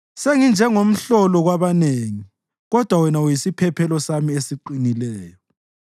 Senginjengomhlolo kwabanengi, kodwa wena uyisiphephelo sami esiqinileyo.